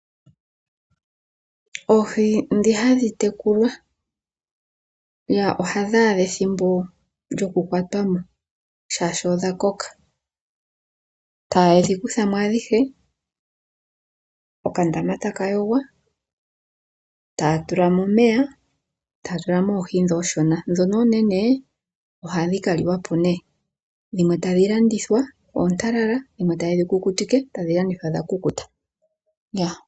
Oohi dhi hadhi tekulwa ohadhi adha ethimbo lyoku kwatwa mo shaashi odha koka. Ta yedhi kutha mo adhihe okandama taka yogwa, taya tula mo omeya, taya tulamo Oohi dhoka ooshona. Dhono oonene ohadhi ka liwa po nee. Dhimwe tadhi landithwa oontalala, dhimwe ta yedhi kukutike tadhi landithwa dha kukuta.